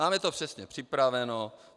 Máme to přesně připraveno.